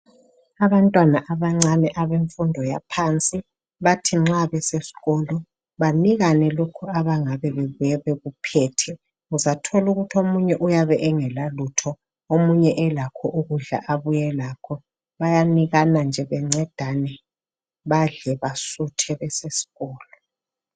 Abantwana abancane abemfundo yaphansi bathi nxa beseskolo banikane lokho abangabe bebuye bekuphethe uzathola ukuthi omunye uyabe engela lutho omunye elakho ukudla abuye lakho bayanikana nje bencedane badle basuthe beseskolo.